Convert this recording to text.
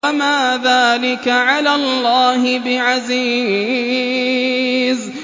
وَمَا ذَٰلِكَ عَلَى اللَّهِ بِعَزِيزٍ